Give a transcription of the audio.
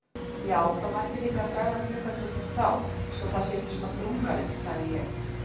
Já, það mætti líka draga gluggatjöldin frá svo það sé ekki svona drungalegt sagði ég.